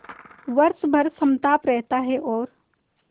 वर्ष भर समताप रहता है और